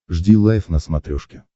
жди лайв на смотрешке